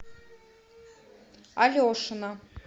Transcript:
алешина